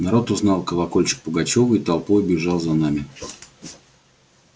народ узнал колокольчик пугачёва и толпою бежал за нами